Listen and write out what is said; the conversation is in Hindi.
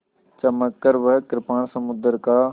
चमककर वह कृपाण समुद्र का